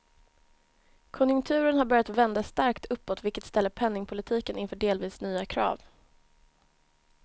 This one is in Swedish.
Konjunkturen har börja vända starkt uppåt, vilket ställer penningpolitiken inför delvis nya krav.